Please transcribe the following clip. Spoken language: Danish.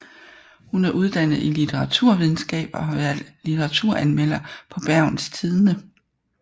Hun er uddannet i litteraturvidenskab og har været litteraturanmelder på Bergens Tidende